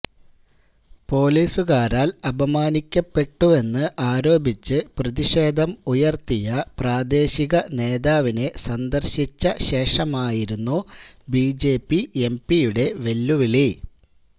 പൊലീസുകാരാല് അപമാനിക്കപ്പെട്ടുവെന്ന് ആരോപിച്ച് പ്രതിഷേധം ഉയര്ത്തിയ പ്രദേശിക നേതാവിനെ സന്ദര്ശിച്ച ശേഷമായിരുന്നു ബിജെപി എംപിയുടെ വെല്ലുവിളി